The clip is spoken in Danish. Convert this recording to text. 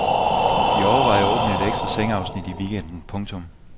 De overvejer at åbne et ekstra sengeafsnit i weekenden. punktum